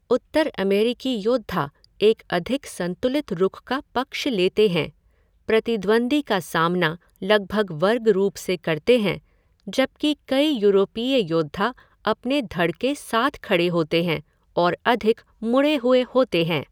उत्तर अमेरिकी योद्धा एक अधिक संतुलित रुख का पक्ष लेते हैं, प्रतिद्वंद्वी का सामना लगभग वर्ग रूप से करते हैं, जबकि कई यूरोपीय योद्धा अपने धड़ के साथ खड़े होते हैं और अधिक मुड़े हुए होते हैं।